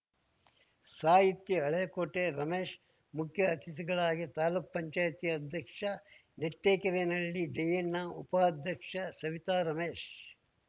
ಸಾಹಿತಿ ಹಳೇಕೋಟೆ ರಮೇಶ್‌ ಮುಖ್ಯ ಅತಿಥಿಗಳಾಗಿ ತಾಲೂಕ್ಪಂಚಾಯ್ತಿ ಅಧ್ಯಕ್ಷ ನೆಟ್ಟೆಕೆರೇನಹಳ್ಳಿ ಜಯಣ್ಣ ಉಪಾಧ್ಯಕ್ಷ ಸವಿತಾ ರಮೇಶ್‌